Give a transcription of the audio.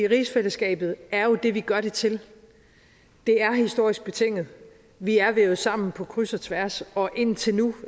rigsfællesskabet er jo det vi gør det til det er historisk betinget vi er vævet sammen på kryds og tværs og indtil nu